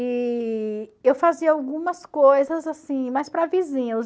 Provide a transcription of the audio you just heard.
E eu fazia algumas coisas assim, mas para vizinhos.